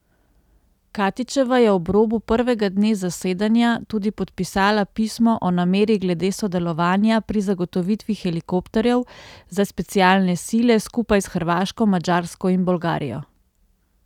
Katičeva je ob robu prvega dne zasedanja tudi podpisala pismo o nameri glede sodelovanja pri zagotovitvi helikopterjev za specialne sile skupaj s Hrvaško, Madžarsko in Bolgarijo.